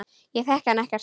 Ég þekki hann ekkert.